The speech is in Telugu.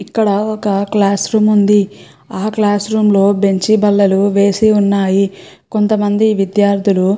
ఇక్కడ ఒక క్లాస్ రూమ్ ఉంది ఆ క్లాస్ రూమ్ లో బెంచ్ బల్లలు వేసి ఉన్నాయి కొంత మంది విద్యార్థులు --